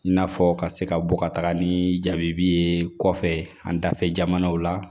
I n'a fɔ ka se ka bɔ ka taga ni jabi ye kɔfɛ an dafɛ jamanaw la